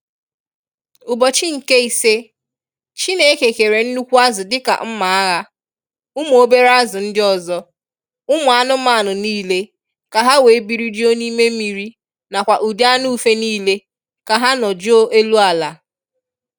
Ubọchi nke ise, Chineke kere nnukwu azu dika nma agha, umu obere azu ndi ozo, umu anumanu nile ka ha wee biri juo n'ime mmiri na kwa udi anu ufe nile ka ha no juo elu ala.